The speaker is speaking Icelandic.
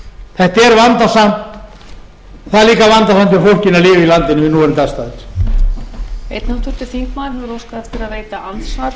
þetta er vandasamt það er líka vandasamt hjá fólkinu að lifa í landinu við núverandi aðstæður